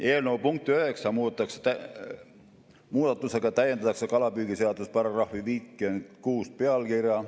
Eelnõu punkti 9 muudatusega täiendatakse kalapüügiseaduse § 56 pealkirja.